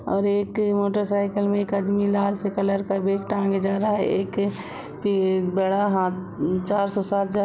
और एक मोटर-साइकिल में एक आदमी लाल से कलर का बेग टांगे जा रहा है एक अ की एक बड़ा हाथ चारसो सात जा--